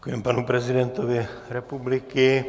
Děkujeme panu prezidentovi republiky.